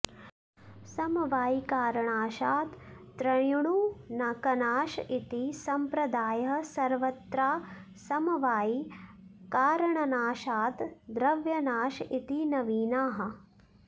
समवायिकारणाशात् त्र्यणुकनाश इति संप्रदायः सर्वत्रासमवायिकारणनाशात् द्रव्यनाश इति नवीनाः